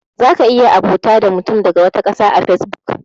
Za ka iya abota da mutum daga wata ƙasa a fesbuk.